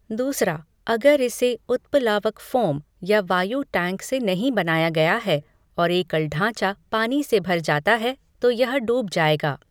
दूसरा, अगर इसे उत्प्लावक फोम या वायु टैंक से नहीं बनाया गया है, और एकल ढाँचा पानी से भर जाता है, तो यह डूब जाएगा।